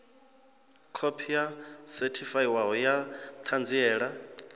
khophi yo sethifaiwaho ya ṱhanziela